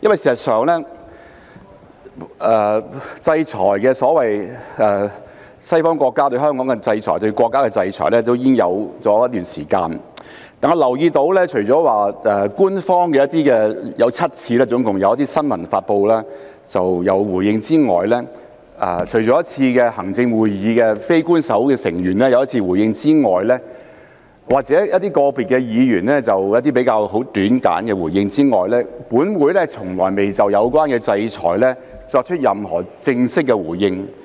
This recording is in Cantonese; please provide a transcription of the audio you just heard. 事實上，西方國家對香港的制裁、對國家的制裁已有一段時間，但我留意到除了官方總共7次以新聞發布作回應之外，以及行政會議非官守成員有一次回應，個別議員有一些很簡短的回應之外，本會從來未就有關制裁作出任何正式的回應。